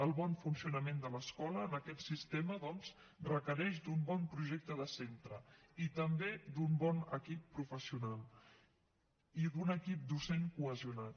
el bon funcionament de l’escola en aquest sistema doncs requereix d’un bon projecte de centre i també d’un bon equip professional i d’un equip docent cohesionat